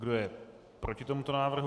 Kdo je proti tomuto návrhu?